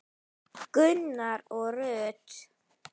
Gunnar og Rut.